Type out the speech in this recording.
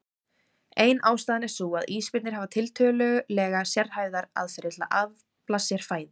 Ein ástæðan er sú að ísbirnir hafa tiltölulega sérhæfðar aðferðir til að afla sér fæðu.